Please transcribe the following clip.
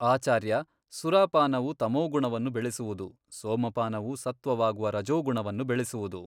ಆಚಾರ್ಯ ಸುರಾಪಾನವು ತಮೋಗುಣವನ್ನು ಬೆಳೆಸುವುದು ಸೋಮಪಾನವು ಸತ್ವವಾಗುವ ರಜೋಗುಣವನ್ನು ಬೆಳೆಸುವುದು.